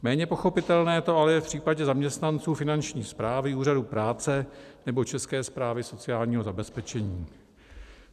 Méně pochopitelné to ale je v případě zaměstnanců Finanční správy, úřadů práce nebo České správy sociálního zabezpečení.